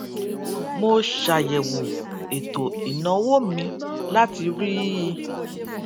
mo ṣàyèwò ètò ìnáwó mi láti rí i